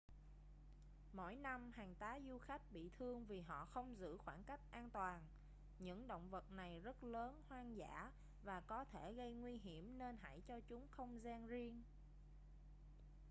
mỗi năm hàng tá du khách bị thương vì họ không giữ khoảng cách an toàn những động vật này rất lớn hoang dã và có thể gây nguy hiểm nên hãy cho chúng không gian riêng